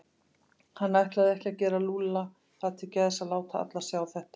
Hann ætlaði ekki að gera Lúlla það til geðs að láta alla sjá þetta.